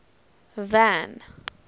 van